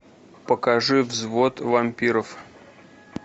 покажи взвод вампиров